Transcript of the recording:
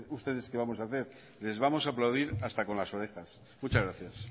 ustedes que vamos a hacer les vamos a aplaudir hasta con las orejas muchas gracias